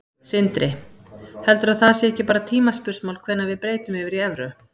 Sindri: Heldurðu að það sé ekki bara tímaspursmál hvenær við breytum yfir í evru?